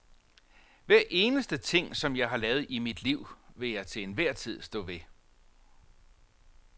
Hver eneste ting, som jeg har lavet i mit liv, vil jeg til enhver tid stå ved.